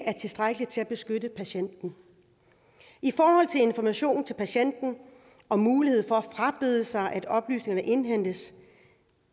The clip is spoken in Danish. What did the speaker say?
tilstrækkelig til at beskytte patienten i forhold til information til patienten om mulighed for at frabede sig at oplysningerne indhentes